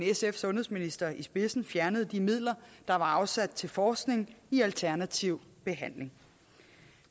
sundhedsminister i spidsen fjernede de midler der var afsat til forskning i alternativ behandling